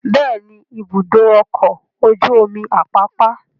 Bẹ́ẹ̀ ni, Ibùdó-ọkọ̀ ojú-omi Àpápá.